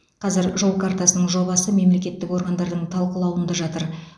қазір жол картасының жобасы мемлекеттік органдардың талқылауында жатыр